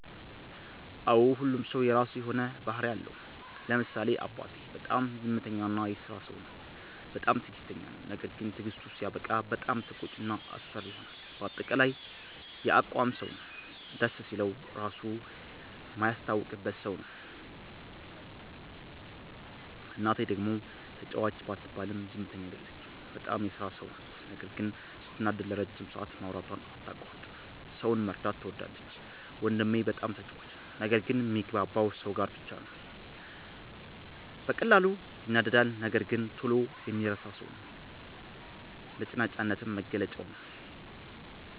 አዎ ሁሉም ሠው የራሱ የሆነ ባህርይ አለው። ለምሳሌ አባቴ፦ በጣም ዝምተኛ እና የስራ ሠው ነው። በጣምም ትግስተኛ ነው። ነገርግን ትግስቱ ሲያበቃ በጣም ተቆጭ እና አስፈሪ ይሆናል በአጠቃላይ የአቋም ሠው ነው። ደስ ሲለው ራሡ ማያስታውቅበት ሠው ነው። እናቴ፦ ደግሞ ተጫዋች ባትባልም ዝምተኛ አይደለችም። በጣም የስራ ሠው ናት ነገር ግን ስትናደድ ለረጅም ሠአት ማውራቷን አታቋርጥም። ሠውን መርዳት ትወዳለች። ወንድሜ፦ በጣም ተጫዋች ነው። ነገር ግን ሚግባባው ሠው ጋር ብቻ ነው። በቀላሉ ይናደዳል ነገር ግን ቶሎ የሚረሣ ሠው ነው። ነጭናጫነትም መገለጫው ነዉ።